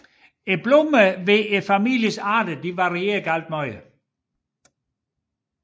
Blomsterne hos familiens arter varierer meget